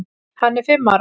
Hann er fimm ára.